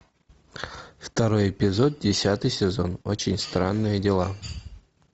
второй эпизод десятый сезон очень странные дела